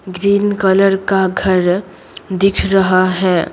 Green colour का घर दिख रहा है।